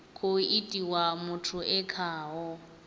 khou itiwa muthu e khaho